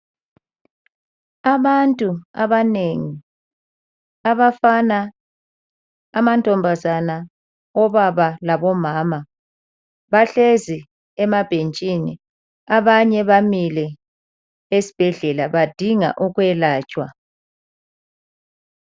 Abantu abanengi, abafana, amantombazana, obaba, labomama bahlezi emabhentshini. Abanye bamile esibhedlela badinga ukwelatshwa.